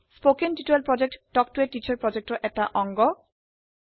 কথন শিক্ষণ প্ৰকল্প তাল্ক ত a টিচাৰ প্ৰকল্পৰ এটা অংগ